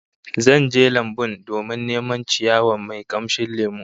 Zan je lambun domin neman ciyawa mai kamshin lemo